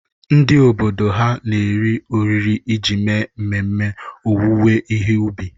Ndị obodo ha na-eri oriri iji mee ememe owuwe ihe ubi.